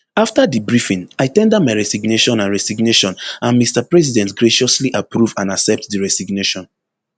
afta di briefing i ten der my resignation and resignation and mr president graciously approve and accept di resignation